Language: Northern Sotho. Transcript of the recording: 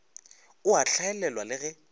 o a hlaelelwa le ge